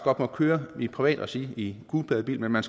godt må køre i privat regi i en gulpladebil men man